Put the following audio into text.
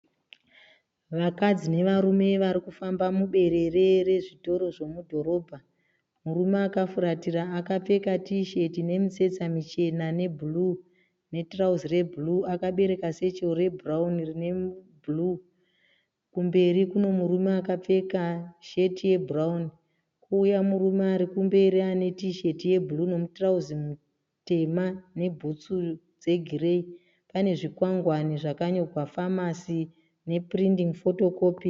Vakadzi nevarume varikufamba muberere rezvitoro zvemudhorobha. Murume akafuratira akapfeka tisheti ine mitsetse michena ne bhuruu, ne tirauzi rebhuruu akabereka sechero re bhurauni rine bhuruu. Kumberi Kune murume akapfeka sheti ye bhurauni. Kouya murume arikumberi ane tisheti ye bhuruu, nemu tirauzi mutema nebhutsu dze gireyi. Pane zvikwangwani zvakanyorwa Pharmacy ne Printing ,Photocopying.